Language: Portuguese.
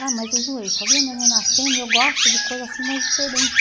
Ah, mas eu enjoei, só via neném nascendo e eu gosto de coisas assim mais diferentes.